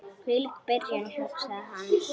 Hvílík byrjun, hugsaði hann.